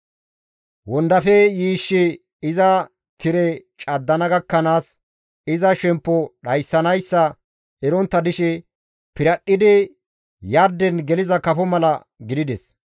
Wondafe yiishshi iza tire caddana gakkanaas, iza shemppo dhayssanayssa erontta dishe piradhdhidi yarden geliza kafo mala gidides.